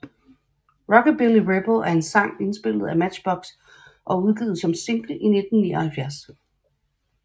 Rockabilly Rebel er en sang indspillet af Matchbox og udgivet som single i 1979